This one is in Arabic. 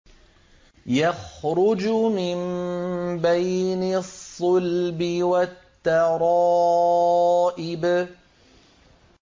يَخْرُجُ مِن بَيْنِ الصُّلْبِ وَالتَّرَائِبِ